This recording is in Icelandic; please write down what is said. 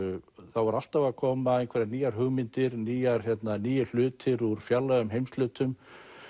það voru alltaf að koma einhverjar nýjar hugmyndir nýir nýir hlutir úr fjarlægum heimshlutum